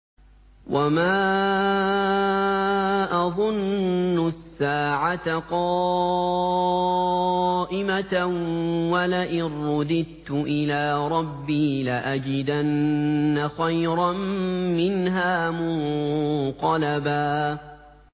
وَمَا أَظُنُّ السَّاعَةَ قَائِمَةً وَلَئِن رُّدِدتُّ إِلَىٰ رَبِّي لَأَجِدَنَّ خَيْرًا مِّنْهَا مُنقَلَبًا